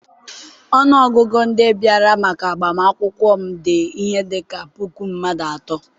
ọnụ ọgụgụ ndị bịara maka agbamakwụkwọ m dị ihe dị ka puku mmadụ atọ.